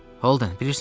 Holden, bilirsən?